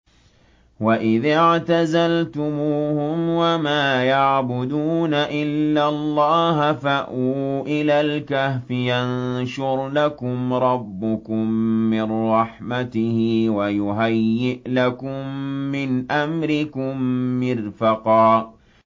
وَإِذِ اعْتَزَلْتُمُوهُمْ وَمَا يَعْبُدُونَ إِلَّا اللَّهَ فَأْوُوا إِلَى الْكَهْفِ يَنشُرْ لَكُمْ رَبُّكُم مِّن رَّحْمَتِهِ وَيُهَيِّئْ لَكُم مِّنْ أَمْرِكُم مِّرْفَقًا